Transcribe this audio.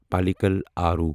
پالیکل آرو